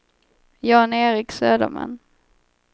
Jan-Erik Söderman